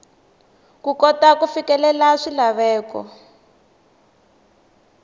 ku kota ku fikelela swilaveko